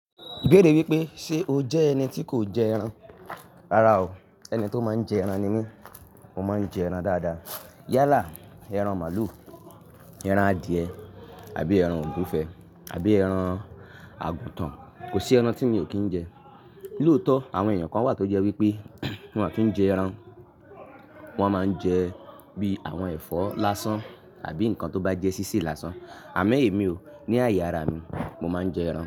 Beere wípé ṣe o jẹ́ ẹni tí kò jẹ ẹran? Rárá o, ẹni tó máa ń jẹ ẹran ni mí. Mo máa ń jẹ ẹran dáadáa. Yálà, ẹran màlúù, ẹran adìẹ àbí ẹran ògúnfe àbí ẹran àgùtàn. Kò sí ẹran tí mi ò kí ń jẹ. Lòótọ̀, àwọn èèyàn kan wà tó jẹ́ wípé wọ́n à kí ń jẹ ẹran. Wọn máa ń jẹ bí i àwọn ẹ̀fọ́ lásán àbí nǹkan tó bá jẹ́ sísè lásán. Àmẹ́ èmi o, ní àyè ara mi, mo máa ń jẹ ẹran.